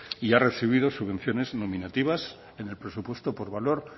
y ha recibido subvenciones nominativas en el presupuesto por valor